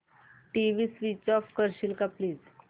TV switch off करशील का please